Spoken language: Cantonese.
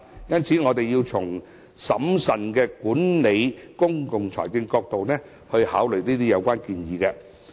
因此，我們要從審慎管理公共財政的角度來考慮這些相關建議。